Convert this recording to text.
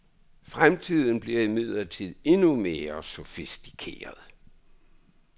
Fremtiden bliver imidlertid endnu mere sofistikeret.